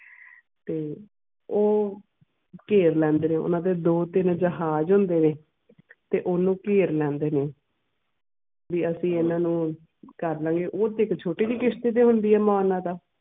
ਤੇ ਉਹ ਘੇਰ ਲੈਂਦੇ ਨੇ ਓਹਨਾ ਦੇ ਦੋ ਤਿੰਨ ਜਹਾਜ ਹੁੰਦੇ ਆ ਤੇ ਓਹਨੂੰ ਘੇਰ ਲੈਂਦੇ ਨੇ ਵੀ ਅਸੀਂ ਇਹਨਾਂ ਨੂੰ ਕਰਲਾਂਗੇ ਉਹ ਤਾਂ ਛੋਟੀ ਜੀ ਕਿਸ਼ਤ ਤੇ ਹੁੰਦੀ ਆ ਮਾਨਾ ਤਾਂ